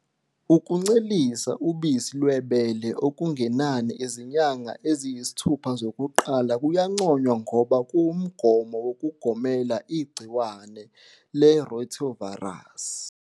Ukuncelisa ubisi lwebele okungenani izinyanga eziyisithupha zokuqala kuyanconywa ngoba kuwumgomo wokugomela igciwane le-rotavirus.